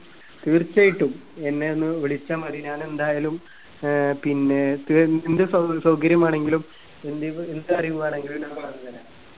തീർച്ചയായിട്ടും എന്നെ ഒന്ന് വിളിച്ചാൽ മതി ഞാൻ എന്തായാലും ഏർ പിന്നെ തികഞ്ഞ സൗ സൗകര്യം വീണെങ്കിലും എന്തെങ്ക്‌ എന്ത് കാര്യം വീണെങ്കിലും ഞാൻ പറഞ്ഞ് തരാം